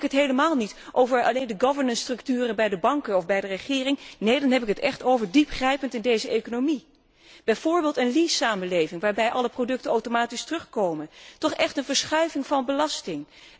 En dan heb ik het helemaal niet over alleen de governance structuren bij de banken of bij de regering. Nee, dan heb ik het echt over diep ingrijpen in deze economie bijvoorbeeld een lease samenleving, waarbij alle producten automatisch terugkomen toch echt een verschuiving van belasting